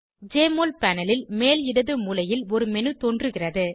JMOL panel ல் மேல் இடது மூலையில் ஒரு மேனு தோன்றுகிறது